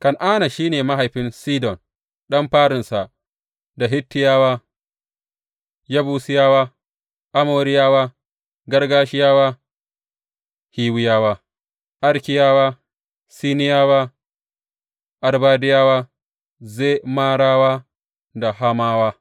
Kan’ana shi ne mahaifin Sidon ɗan farinsa, da Hittiyawa, Yebusiyawa, Amoriyawa, Girgashiyawa Hiwiyawa, Arkiyawa, Siniyawa, Arbadiyawa, Zemarawa da Hamawa.